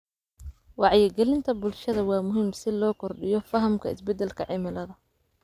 Wacyigelinta bulshada waa muhiim si loo kordhiyo fahamka isbedelka cimilada.